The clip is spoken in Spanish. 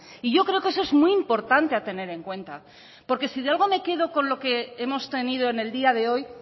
y yo creo que eso es muy importante a tener en cuenta porque sí de algo me quedo con lo que hemos tenido en el día de hoy